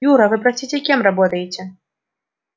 юра вы простите кем работаете